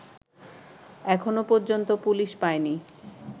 এখনো পর্যন্ত পুলিশ পায়নি